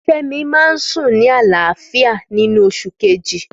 Fẹ́mi máa ń sùn ní àlàáfíà nínú oṣù kejì.